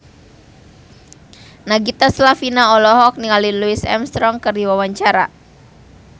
Nagita Slavina olohok ningali Louis Armstrong keur diwawancara